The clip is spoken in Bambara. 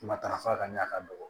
Matarafa ka ɲɛ a ka dɔgɔ